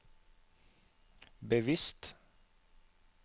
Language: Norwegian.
bevisst